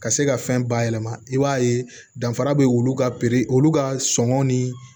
Ka se ka fɛn bayɛlɛma i b'a ye danfara be olu ka olu ka sɔngɔn ni